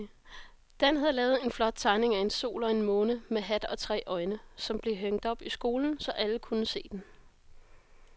Dan havde lavet en flot tegning af en sol og en måne med hat og tre øjne, som blev hængt op i skolen, så alle kunne se den.